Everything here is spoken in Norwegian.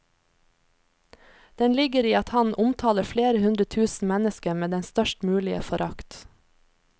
Den ligger i at han omtaler flere hundre tusen mennesker med den størst mulige forakt.